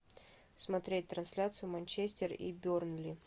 смотреть трансляцию манчестер и бернли